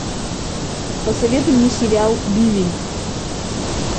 посоветуй мне сериал бивень